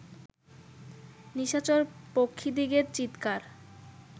নিশাচর পক্ষীদিগের চীৎকার